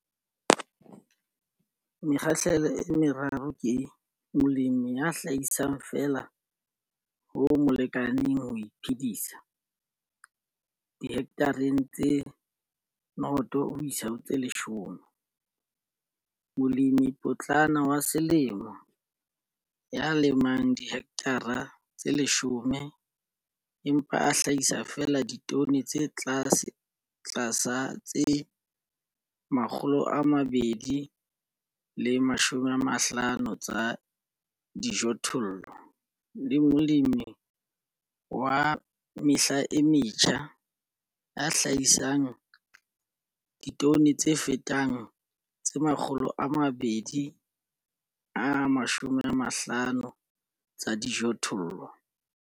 Mekgahlelo e meraro ke, molemi ya hlahisang feela ho mo lekaneng ho iphedisa, dihekthareng tse 0 10, molemipotlana wa selemo ya lemang dihekthara tse 10, empa a hlahisa feela ditone tse tlasa tse 250 tsa dijothollo, le molemi wa selemo wa mehla e metjha ya hlahisang ditone tse fetang 250 tsa dijothollo.